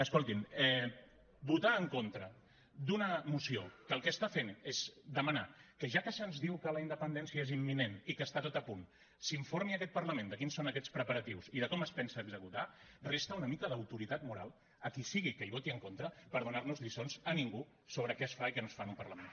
escoltin votar en contra d’una moció que el que fa és demanar que ja que se’ns diu que la independència és imminent i que està tot a punt s’informi aquest parlament de quins són aquests preparatius i de com es pensa executar resta una mica d’autoritat moral a qui sigui que hi voti en contra per donar nos lliçons a ningú sobre què es fa i què no es fa en un parlament